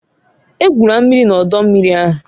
Egwula mmiri na ọdọ mmiri ahụ